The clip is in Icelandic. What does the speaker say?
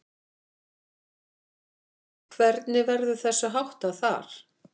Hvernig verður þessu háttað þar?